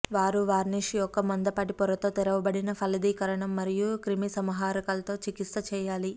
వారు వార్నిష్ యొక్క మందపాటి పొరతో తెరవబడిన ఫలదీకరణాలు మరియు క్రిమిసంహారకాలుతో చికిత్స చేయాలి